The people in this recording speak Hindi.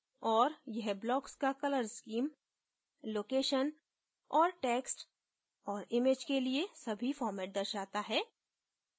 और यह blocks का colour स्कीम location और text और इमैज के लिए सभी फॉर्मेट दर्शाता है